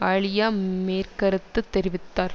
அலியா மேர் கருத்து தெரிவித்தார்